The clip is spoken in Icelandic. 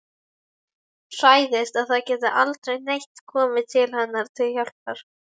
Hræðist að það geti aldrei neitt komið henni til hjálpar.